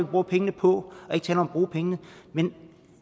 bruger pengene på og ikke tale om at bruge pengene men